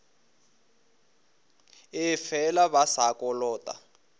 ee fela ba sa kolota